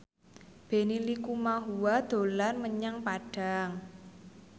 Benny Likumahua dolan menyang Padang